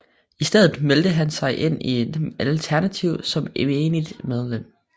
I stedet meldte han sig ind i Alternativet som menigt medlem